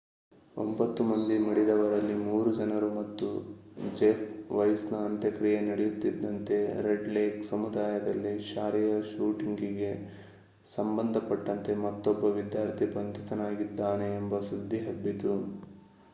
9 ಮಂದಿ ಮಡಿದವರಲ್ಲಿ 3 ಜನರು ಮತ್ತು ಜೆಫ್ ವೈಸ್ ನ ಅಂತ್ಯಕ್ರಿಯೆ ನಡೆಯುತ್ತಿದ್ದಂತೆ ರೆಡ್ ಲೇಕ್ ಸಮುದಾಯದಲ್ಲಿ ಶಾಲೆಯ ಶೂಟಿಂಗ್ ಗೆ ಸಂಬಂಧಪಟ್ಟಂತೆ ಮತ್ತೊಬ್ಬ ವಿದ್ಯಾರ್ಥಿ ಬಂಧಿತನಾಗಿದ್ದಾನೆ ಎಂಬ ಸುದ್ದಿ ಹಬ್ಬಿತು